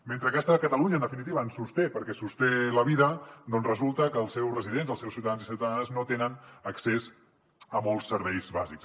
mentre aquesta catalunya en definitiva ens sosté perquè sosté la vida doncs resulta que els seus residents els seus ciutadans i ciutadanes no tenen accés a molts serveis bàsics